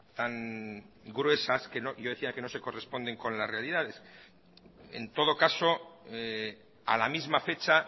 tan gruesas yo decía que no se corresponden con las realidades en todo caso a la misma fecha